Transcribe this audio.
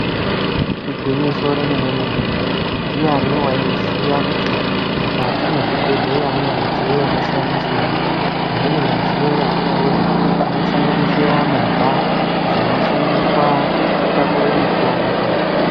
Igwinyiso remene mene ndiyani waiziya kuti mukati mwezvibhedhleya mune midziyo yakasiyana siyana imweni midziyo yatinoona inosanganisira movha dzinoshandiswa kutakura mutombo.